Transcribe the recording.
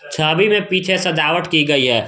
छवि में पीछे सजावट की गई है।